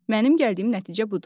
Mənim gəldiyim nəticə budur.